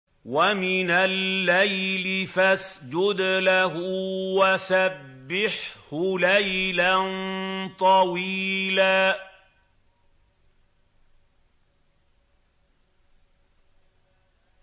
وَمِنَ اللَّيْلِ فَاسْجُدْ لَهُ وَسَبِّحْهُ لَيْلًا طَوِيلًا